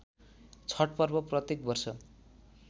छठ पर्व प्रत्येक वर्ष